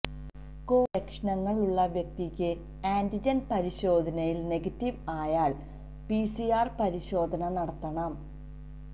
Covid ലക്ഷണങ്ങള് ഉള്ള വ്യക്തിക്ക് ആന്റിജന് പരിശോധനയില് നെഗറ്റീവ് ആയാല് പി സി ആര് പരിശോധന നടത്തണം